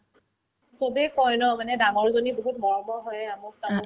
চবে কই ন মানে ডাঙৰজনী বহুত মৰমৰ হয় এয়া মোক চা